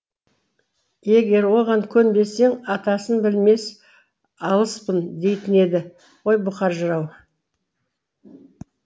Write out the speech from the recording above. егер оған көнбесең атасын білмес алыспын дейтін еді ғой бұқар жырау